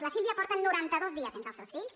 la sílvia porta norantados dies sense els seus fills